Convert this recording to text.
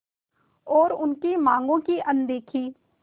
और उनकी मांगों की अनदेखी